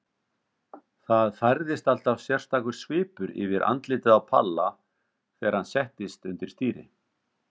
Það færðist alltaf sérstakur svipur yfir andlitið á Palla þegar hann settist undir stýri.